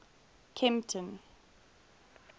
kempton